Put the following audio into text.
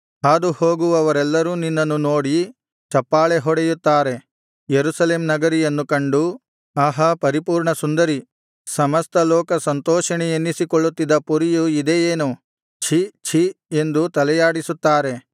ಹಾದುಹೋಗುವವರೆಲ್ಲರೂ ನಿನ್ನನ್ನು ನೋಡಿ ಚಪ್ಪಾಳೆಹೊಡೆಯುತ್ತಾರೆ ಯೆರೂಸಲೇಮ್ ನಗರಿಯನ್ನು ಕಂಡು ಆಹಾ ಪರಿಪೂರ್ಣಸುಂದರಿ ಸಮಸ್ತಲೋಕ ಸಂತೋಷಿಣಿ ಎನ್ನಿಸಿಕೊಳ್ಳುತ್ತಿದ್ದ ಪುರಿಯು ಇದೇ ಏನು ಛೀ ಛೀ ಎಂದು ತಲೆಯಾಡಿಸುತ್ತಾರೆ